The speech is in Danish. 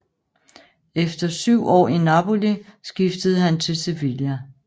Efter syv år i Napoli skiftede han til Sevilla